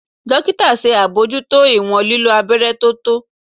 Dokita ṣe abojuto iwọn lilo abẹrẹ to tọ.